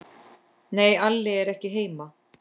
Nei, Alli er ekki heima.